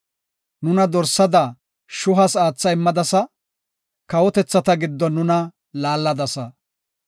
Nuna dorsada shuhas aatha immadasa; kawotethata giddon nuna laalladasa.